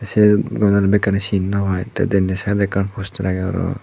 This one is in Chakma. se gome dale bekkani sin naw pai te denendi sidot ekkan postar agey para pang.